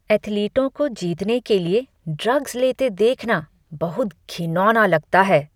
एथलीटों को जीतने के लिए ड्रग्स लेते देखना बहुत घिनौना लगता है।